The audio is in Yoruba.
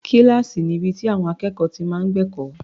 Kíláàsì ni ibi tí àwọn akẹ́kọ̀ọ́ ti máa ń gbẹ̀kọ́.